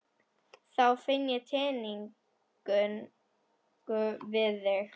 Þá finn ég tengingu við þig.